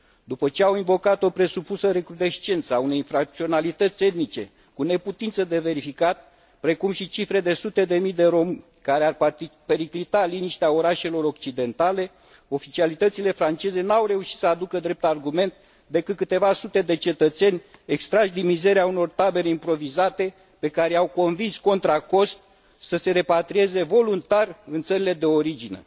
După ce au invocat o presupusă recrudescență a unei infracționalități etnice, cu neputință de verificat, precum și cifre de sute de sute de mii de romi care ar periclita liniștea orașelor occidentale, oficialitățile franceze nu au reușit să aducă drept argument decât câteva sute de cetățeni extrași din mizeria unor tabere improvizate, pe care i au convins contra cost să se repatrieze voluntar în țările de origine.